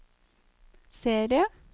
serie